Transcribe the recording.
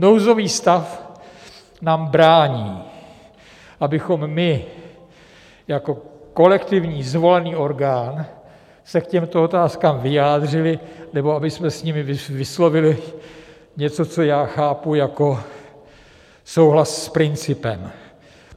Nouzový stav nám brání, abychom my jako kolektivní zvolený orgán se k těmto otázkám vyjádřili nebo abychom s nimi vyslovili něco, co já chápu jako souhlas s principem.